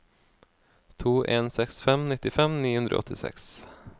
to en seks fem nittifem ni hundre og åttiseks